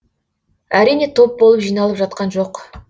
әрине топ болып жиналып жатқан жоқ